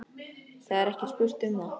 Það er ekki spurt um það.